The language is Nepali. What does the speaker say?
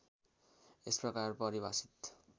यस प्रकार परिभाषित